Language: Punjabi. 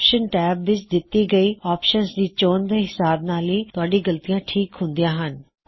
ਆਪਸ਼ਨ ਟੈਬ ਵਿੱਚ ਕਿੱਤੀ ਗਈ ਆਪਸ਼ਨਸ ਦੀ ਚੋਣ ਦੇ ਹਿਸਾਬ ਨਾਲ ਹੀ ਤੁਹਾਡੀ ਗਲਤੀਆ ਠੀਕ ਹੁੰਦੀਆ ਹਨ